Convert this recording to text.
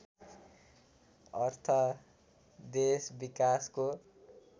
अर्थ देश विकासको